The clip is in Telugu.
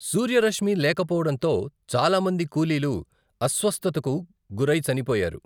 సూర్యరశ్మి లేకపోవడంతో చాలా మంది కూలీలు అస్వస్థతకు గురై చనిపోయారు.